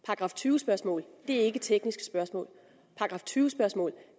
§ tyve spørgsmål er ikke tekniske spørgsmål § tyve spørgsmål